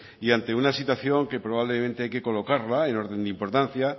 y ante una situación que probablemente hay que colocarla en orden de importancia